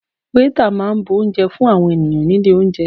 Waiter máa bu oúnjẹ fún àwọn ènìyàn nílé oúnjẹ.